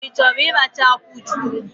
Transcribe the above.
Ị chọrọ ịracha akwụ chukwu?